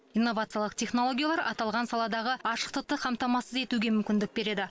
инновациялық технологиялар аталған саладағы ашықтықты қамтамасыз етуге мүмкіндік береді